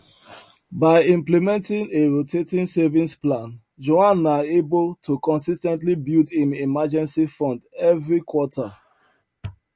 by implementing a rotating savings plan juan na able to consis ten tly build im emergency fund everi quarter